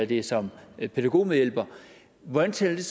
det er som pædagogmedhjælper hvordan tæller